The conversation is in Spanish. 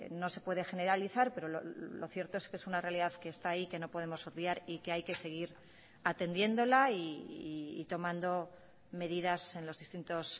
no se puede generalizar pero lo cierto es que es una realidad que esta ahí que no podemos obviar y que hay que seguir atendiéndola y tomando medidas en los distintos